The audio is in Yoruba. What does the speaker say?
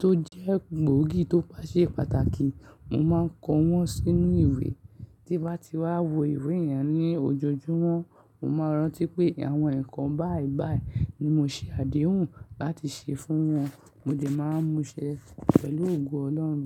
tó jẹ́ gbòógì tó bá ṣe pàtàkì, mo máa ń kọ wọ́n sínú ìwé. Tí bá ti wá wo ìwé yẹn ní ojojúmọ́, mo máa rántí pé àwọn ǹkan báìbàì ni mo ṣe àdéhùn láti ṣe fún wọn. Mo dẹ̀ máa ń múṣẹ pẹ̀lú ògo Ọlọ́run.